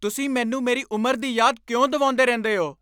ਤੁਸੀਂ ਮੈਨੂੰ ਮੇਰੀ ਉਮਰ ਦੀ ਯਾਦ ਕਿਉਂ ਦਿਵਾਉਂਦੇ ਰਹਿੰਦੇ ਹੋ?